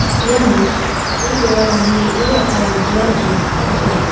iano gari-gorarangni re·ruratarangkoba nikna gita man·a.